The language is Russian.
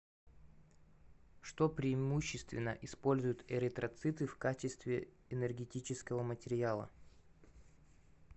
что преимущественно используют эритроциты в качестве энергетического материала